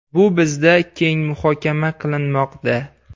Bu bizda keng muhokama qilinmoqda.